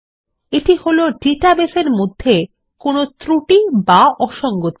এটা হলো ডাটাবেসের মধ্যে কোনো একটি ত্রুটি বা অসঙ্গতি